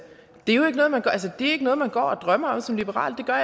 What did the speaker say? jo ikke noget man går og drømmer om som liberal det gør